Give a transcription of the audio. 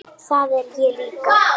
Það er ég líka